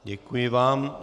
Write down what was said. Děkuji vám.